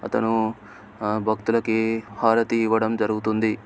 అతను ఆ భక్తులకి హారతి ఇవ్వడం జరుగుతుంది.